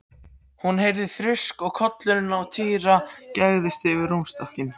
Hún heyrði þrusk og kollurinn á Týra gægðist yfir rúmstokkinn.